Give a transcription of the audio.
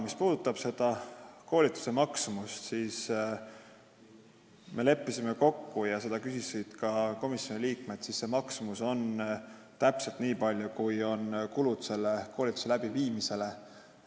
Mis puudutab koolituse maksumust – seda küsisid ka komisjoni liikmed –, siis me leppisime kokku, et see on täpselt nii suur, kui kulub selle koolituse läbiviimiseks.